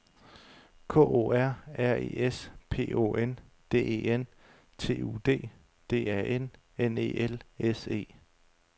K O R R E S P O N D E N T U D D A N N E L S E